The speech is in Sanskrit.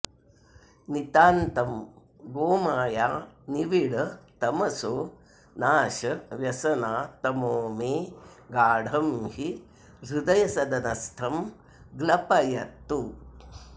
नितान्तं गोमाया निविड तमसो नाश व्यसना तमो मे गाढं हि हृदयसदनस्थं ग्लपयतु